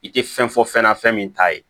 I tɛ fɛn fɔ fɛn na fɛn min t'a ye